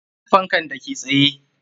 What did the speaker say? Banda fankan da ke tsaye.